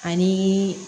Ani